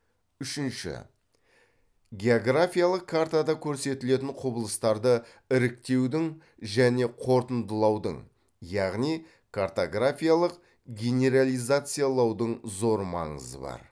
үшінші географиялық картада көрсетілетін құбылыстарды іріктеудің және қорытындылаудың яғни картографиялық генерализациялаудың зор маңызы бар